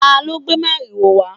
talo gbé mariwo wa?